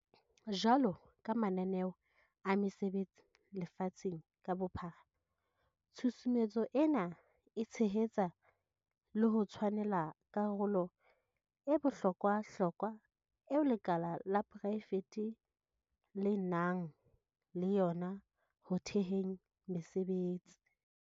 Jwalo ka mananeo a mesebetsi lefatsheng ka bophara, tshusumetso ena e tshehetsa le ho tshwanela karolo e bohlo kwahlokwa eo lekala la porae fete le nang le yona ho theheng mesebetsi.